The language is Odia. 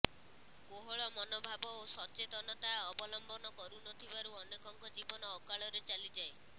କୋହଳ ମନୋଭାବ ଓ ସଚେତନତା ଅବଲମ୍ବନ କରୁ ନଥିବାରୁ ଅନେକଙ୍କ ଜୀବନ ଅକାଳରେ ଚାଲିଯାଏ